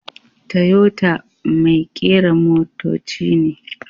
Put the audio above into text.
Toyota mai kera motoci ne.